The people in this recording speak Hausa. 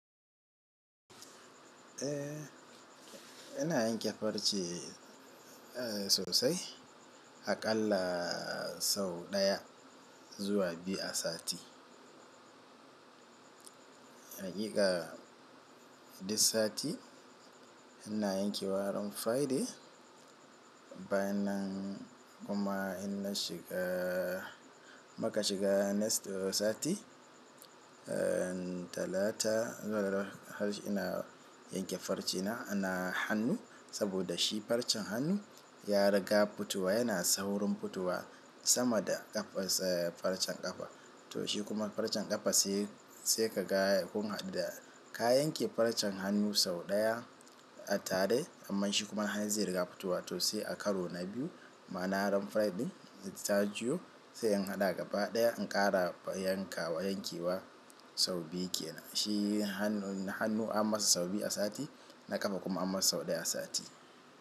Eh ina yanke farce sosai a ƙalla sau ɗaya zuwa biyu a sati. Haƙiƙa this sati ina yankewa ran Friday. Bayan nan kuma inna shiga maka shiga next sati, eh talata har ina yanke farce na, ana hannu saboda shi farcen hannu ya riga futowa yana saurin futowa sama da ƙafa farcen ƙafa. To shi kuma farcen ƙafa sai, sai ka ga kun haɗu ka yanke farcen hannu sau ɗaya a tare amma shi kuma han zai riga futuwa to sai a karo na biyu. Ma'ana ran Friday zai taju sai in haɗa gaba ɗaya in ƙara yanka yanke wa sau biyu ke. Shi hannu hannu an masa sau biyu a sati na ƙafa kuma an masa sau ɗaya a sati.